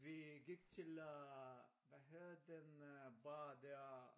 Vi gik til øh hvad hedder den øh bar dér